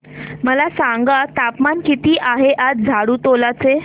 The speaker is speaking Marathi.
मला सांगा तापमान किती आहे आज झाडुटोला चे